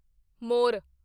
ਮੋਰ